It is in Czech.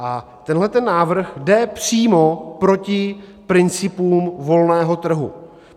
A tenhle návrh jde přímo proti principům volného trhu.